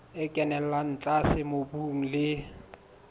e kenella tlase mobung le